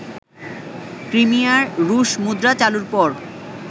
ক্রিমিয়ায় রুশ মুদ্রা চালুর পর